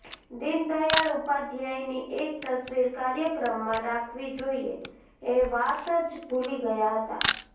દિન દયાળ ઉપાધ્યાયની એક તસવીર કાર્યક્રમમાં રાખવી જોઈએ એ વાત જ ભૂલી ગયા હતાં